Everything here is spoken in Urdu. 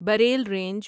Braille range